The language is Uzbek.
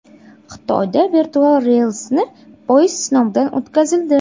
Xitoyda virtual relsli poyezd sinovdan o‘tkazildi .